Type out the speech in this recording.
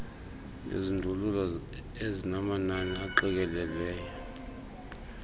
izindululo ezinamanani aqikelelweyo